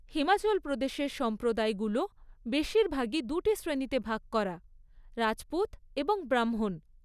হিমাচল প্রদেশের সম্প্রদায়গুলো বেশিরভাগই দুটি শ্রেণীতে ভাগ করা, রাজপুত এবং ব্রাহ্মণ।